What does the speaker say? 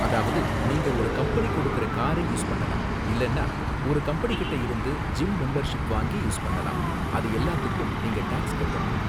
அதாவது நீங்க ஒரு கம்பெனி கொடுக்கற காரை யூஸ் பண்ணலாம் இல்லனா ஒரு கம்பெனிகிட்ட இருந்து ஜிம் மெம்பர்ஷிப் வாங்கி யூஸ் பண்ணலாம், அது எல்லாத்துக்கும் நீங்க டாக்ஸ் கட்டணும்.